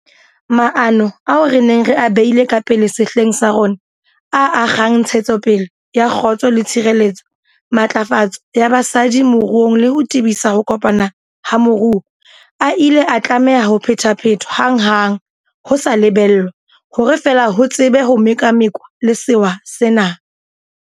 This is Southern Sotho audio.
Maano ao re neng re a beile ka pele sehleng sa rona, a a kgang ntshetsopele ya kgotso le tshireletso, matlafatso ya basadi moruong le ho tebisa ho kopana ha moruo, a ile a tlameha ho phephethwa hanghang ho sa lebellwa, hore fela ho tsebe ho mekamekanwa le sewa sena.